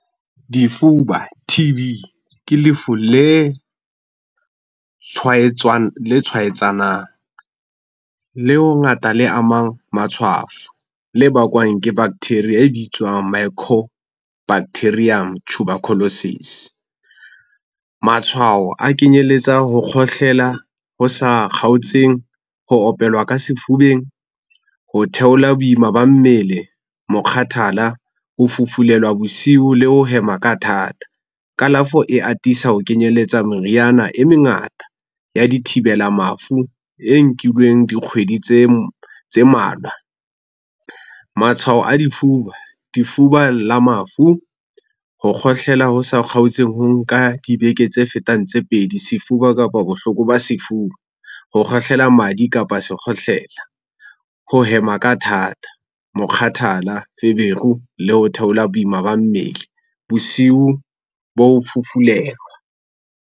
Difuba, T_B ke lefu le tshwaetsanang. Leo hangata le amang matshwafo le bakwang ke bacteria e bitswang micobacterium tuberculosis. Matshwao a kenyelletsa ho kgohlela ho sa kgaotseng, ho opelwa ka sefubeng, ho theola boima ba mmele, mokgathala, ho fufulelwa bosiu le ho hema ka thata. Kalafo e atisa ho kenyelletsa meriana e mengata ya dithibela mafu e nkilweng dikgwedi tse tse malwa. Matshwao a difuba, difuba la mafu, ho kgohlela ho sa kgaotseng ho nka dibeke tse fetang tse pedi, sefuba kapa bohloko ba sefuba, ho kgohlela madi kapa se kgohlela, ho hema ka thata, mokgathala, feberu le ho theola boima ba mmele, bosiu ba o fufulelwa.